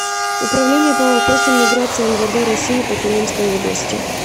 управление по вопросам миграции мвд россии по тюменской области